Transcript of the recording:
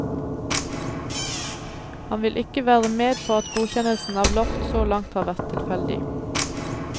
Han vil ikke være med på at godkjennelsen av loft så langt har vært tilfeldig.